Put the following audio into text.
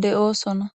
de'osona